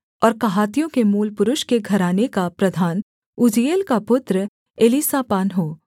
और कहातियों के मूलपुरुष के घराने का प्रधान उज्जीएल का पुत्र एलीसापान हो